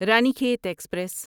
Ranikhet express